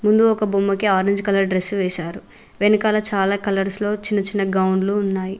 ముందు ఒక బొమ్మ కి ఆరేంజ్ కలర్ డ్రెస్సు వేసారు వెనకాల చాలా కలర్స్ లో చిన్న చిన్న గౌన్లు ఉన్నాయి